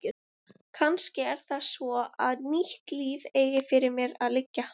Kannski er það svo að nýtt líf eigi fyrir mér að liggja.